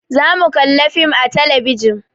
Za mu kalla fim a talabijin